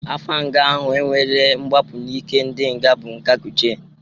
Afa nga ahụ e nwere mgbapụ n'ike ndị nga bụ nga Kuje.